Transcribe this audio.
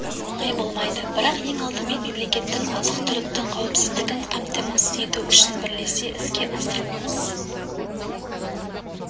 оңай болмайды бірақ оны ең алдымен мемлекеттің азық-түліктің қауіпсіздігін қамтамасыз ету үшін бірлесе іске асыруымыз